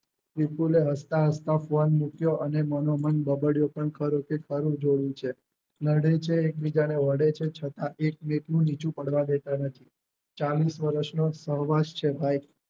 વિપુલે હસતા હસતા ફોન મુક્યો અને મનોમન બબડ્યો પણ ખરું કે ખરું જોડું છે. નડે છે એકબીજાને વઢે છે છતાં એકવેટનું નીચું પાડવા દેતા નથી ચાલીશ વરસનો સર્વાથ છે ભાઈ